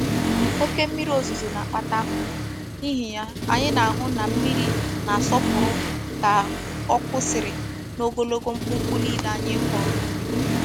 Oke mmiri ozuzo na-akpata ahuhu, n'ihi ya anyi na-ahu na mmiri na-asopuru ka o kwusiri n'ogologo mkpumkpu nile anyi koro nubi.